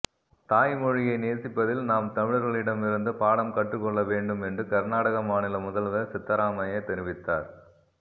தாய் மொழியை நேசிப்பதில் நாம் தமிழர்களிடம் இருந்து பாடம் கற்றுக்கொள்ள வேண்டும் என்று கர்நாடக மாநில முதல்வர் சித்தராமையா தெரிவித்தார்